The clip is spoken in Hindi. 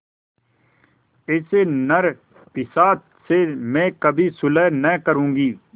ऐसे नरपिशाच से मैं कभी सुलह न करुँगी